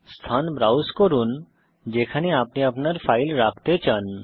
স্থান ব্রাউজ করুন যেখানে আপনি আপনার ফাইল রাখতে চান